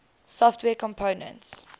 software components